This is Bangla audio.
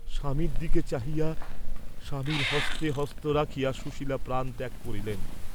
স্বামীর দিকে চাহিয়া স্বামীর হস্তে হস্ত রাখিয়া সুশীলা প্রাণত্যাগ করিলেন।